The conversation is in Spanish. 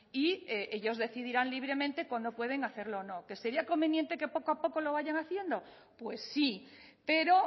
y ellos decidirán libremente cuándo pueden hacerlo o no que sería conveniente que poco a poco lo vayan haciendo pues sí pero